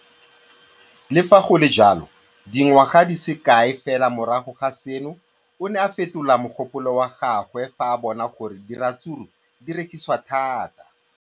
Le fa go le jalo, dingwaga di se kae fela morago ga seno, o ne a fetola mogopolo wa gagwe fa a bona gore diratsuru di rekisiwa thata.